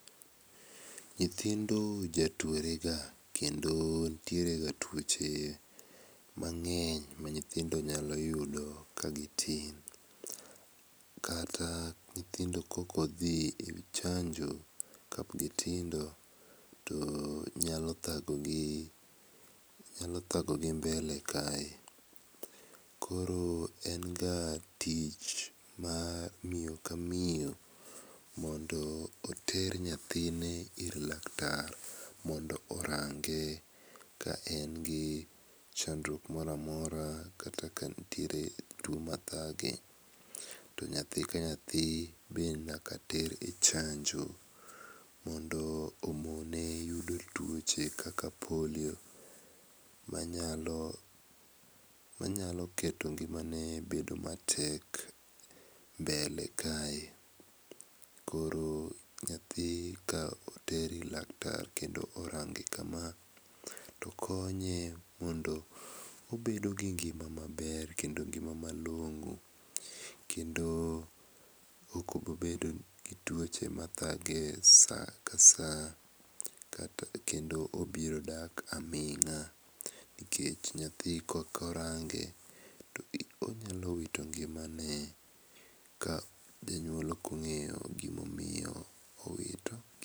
Nyithindo jatuorega kendo nitierega tuoche mang'eny ma nyithindo nyalo yudo ka gitin kata nyithindo kaok odhi e chanjo ka gitindo to nyalo thago gi nyalo thagogi mbele kae koro en ga tich mar miyo ka miyo mondo oter nyathine ir laktar mondo orange ka en gi chandruok moro amora kata ka nitiere tuo machande to nyathi ka nyathi be nyaka ter e chanjo mondo omone yudo tuoche kaka polio manyalo manyalo keto ngimane bedo matek mbele kae koro nyathi ka oter ir laktar kendo orange kama to konye mondo obedo gi ngima maber kendo ngima malong'o. Okmobi bedom gi tuo machande kendo obiro dak aming'a